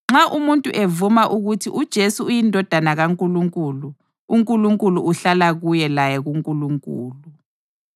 Nxa umuntu evuma ukuthi uJesu uyiNdodana kaNkulunkulu, uNkulunkulu uhlala kuye laye kuNkulunkulu.